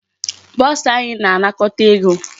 Bursar anyị na-anakọta ego.